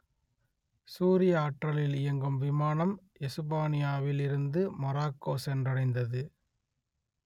சூரிய ஆற்றலில் இயங்கும் விமானம் எசுபானியாவில் இருந்து மொரோக்கோ சென்றடைந்தது